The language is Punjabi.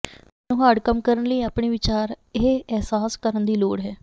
ਤੁਹਾਨੂੰ ਹਾਰਡ ਕੰਮ ਕਰਨ ਲਈ ਆਪਣੇ ਵਿਚਾਰ ਇਹ ਅਹਿਸਾਸ ਕਰਨ ਦੀ ਲੋੜ ਹੈ